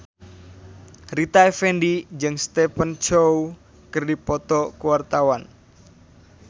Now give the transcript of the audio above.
Rita Effendy jeung Stephen Chow keur dipoto ku wartawan